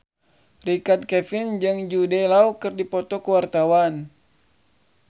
Richard Kevin jeung Jude Law keur dipoto ku wartawan